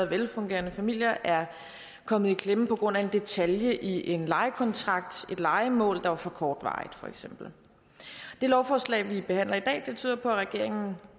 velfungerende familier er kommet i klemme på grund af en detalje i en lejekontrakt et lejemål der var for kortvarigt for eksempel det lovforslag vi behandler i dag tyder på at regeringen